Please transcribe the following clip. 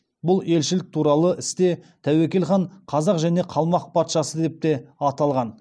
бұл елшілік туралы істе тәуекел хан қазақ және қалмақ патшасы деп те аталған